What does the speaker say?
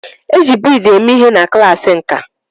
E ji bead eme ihe na klaasị nkà.